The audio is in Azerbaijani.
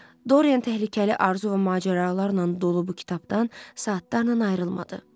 Dorian təhlükəli arzu və macəralarla dolu bu kitabdan saatlarla ayrılmadı.